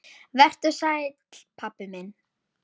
Vertu sæll, pabbi minn.